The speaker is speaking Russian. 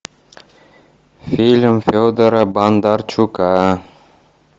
фильм федора бондарчука